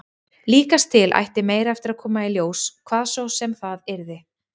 Líkast til ætti meira eftir að koma í ljós, hvað svo sem það yrði.